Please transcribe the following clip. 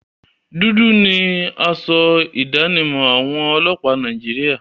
Dúdú ni asọ ìdánimọ̀ àwọn ọlọ́pàá Nàìjíríà.